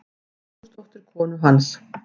Vigfúsdóttur konu hans.